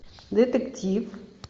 детектив